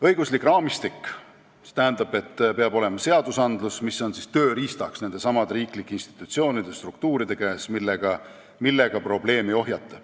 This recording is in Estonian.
Õiguslik raamistik tähendab, et peavad olema seadused, mis on tööriistaks nendesamade riiklike institutsioonide ja struktuuride käes ning millega saab probleemi ohjeldada.